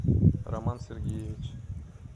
роман сергеевич